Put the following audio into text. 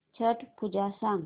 छट पूजा सांग